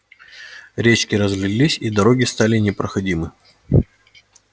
речки разлились и дороги стали непроходимы